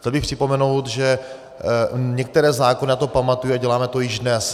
Chtěl bych připomenout, že některé zákony na to pamatují a děláme to již dnes.